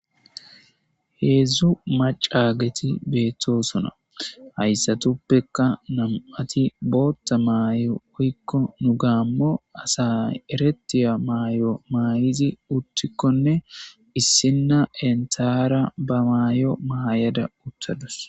heedzdzu macaageti beettosona hayssatuppeka nam7ati bootta maayo oykko nu gaammo asa eretiya maayo maay7izi uttikkonne issinna entara ba maayo mayada uttadus